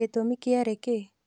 Gĩtumi kĩarĩ kĩĩ?